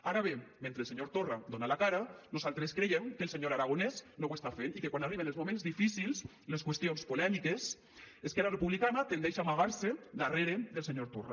ara bé mentre el senyor torra dona la cara nosaltres creiem que el senyor aragonès no ho està fent i que quan arriben els moments difícils les qüestions polèmiques esquerra republicana tendeix a amagar se darrere del senyor torra